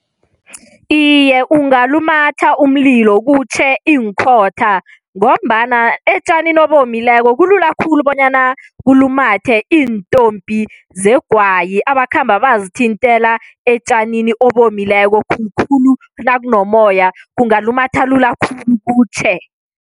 Iye, ungalumatha umlilo kutjhe iinkhotha ngombana etjanini obomileko kulula khulu bonyana kulumathe iintompi zegwayi abakhamba bazithintela etjanini obomileko khulukhulu nakunomoya kungalumatha khulu, kutjhe.